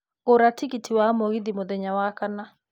gũra tigiti wa mũgithi mũthenya wa kana